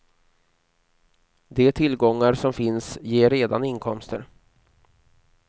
De tillgångar som finns ger redan inkomster.